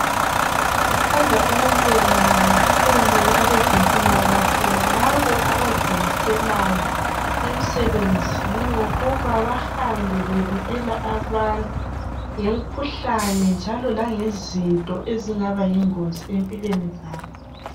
Sithanda ukubonga kakhulu abezempilakahle, lalabo abazimiselayo emsebenzini wokuba bahambe bebikela abantu ngemkhuhlane njalo langezinto ezingaba yingozi empilweni zethu.